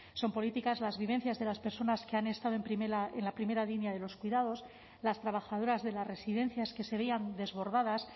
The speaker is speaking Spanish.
son políticas las vivencias de las personas que han estado en la primera línea de los cuidados las trabajadoras de las residencias que seguían desbordadas